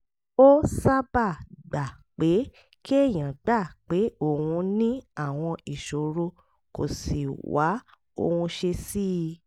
ó sábà gba pé kéèyàn gbà pé òun ní àwọn ìṣòro kó sì wá ohun ṣe sí i